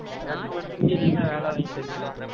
நீ தான் வேலை வாங்கி தருவ